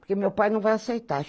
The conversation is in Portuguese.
Porque meu pai não vai aceitar.